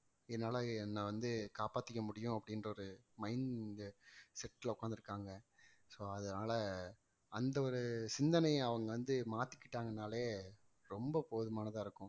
என்னால என்னை வந்து காப்பாத்திக்க முடியும் அப்படின்ற ஒரு mindset ல உட்கார்ந்து இருக்காங்க so அதனால அந்த ஒரு சிந்தனையை அவங்க வந்து மாத்திக்கிட்டாங்கன்னாலே ரொம்ப போதுமானதா இருக்கும்